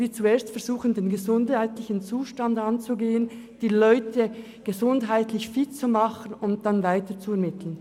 Wir versuchen zuerst, den gesundheitlichen Zustand anzugehen, die Leute gesundheitlich fit zu machen, und sie anschliessend weiterzuvermitteln.